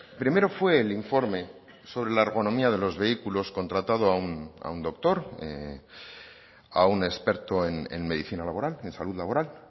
primero fue el informe sobre la economía de los vehículos contratado a un doctor a un experto en medicina laboral en salud laboral